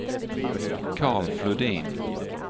Carl Flodin